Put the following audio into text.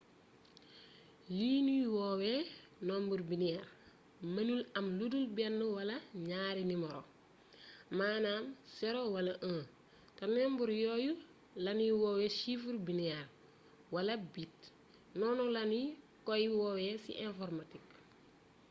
li ñuy waawe nombre binaire mënul am ludul benn wala ñaari nimero manaam 0 wala 1 te nombre yooyu lañuy woowe chiffre binaire wala bit noonu lañu koy woowe ci informatique